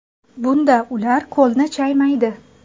Bunda ular qo‘lni chaymaydi.